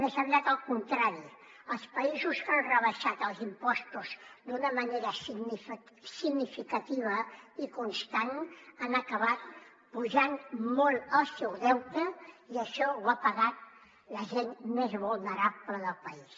més aviat al contrari els països que han rebaixat els impostos d’una manera significativa i constant han acabat apujant molt el seu deute i això ho ha pagat la gent més vulnerable del país